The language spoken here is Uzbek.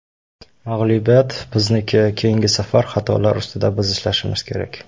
Mag‘lubiyat bizniki, keyingi safar xatolar ustida biz ishlashimiz kerak.